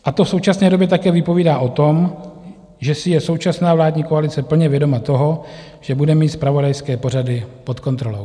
A to v současné době také vypovídá o tom, že si je současná vládní koalice plně vědoma toho, že bude mít zpravodajské pořady pod kontrolou.